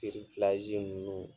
Kiri fila ninnu